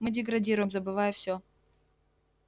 мы деградируем забывая всё